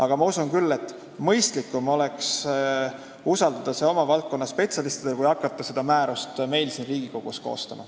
Aga ma usun küll, et mõistlikum oleks usaldada see valdkonnaspetsialistidele, mitte hakata seda määrust siin Riigikogus koostama.